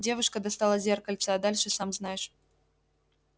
девушка достала зеркальце а дальше сам знаешь